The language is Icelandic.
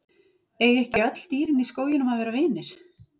Eiga ekki öll dýrin í skóginum að vera vinir?